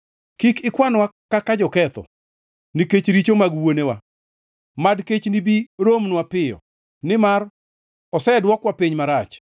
Kik ikwanwa kaka joketho, nikech richo mag wuonewa; mad kechni bi romnwa piyo, nimar osedwokwa piny marach.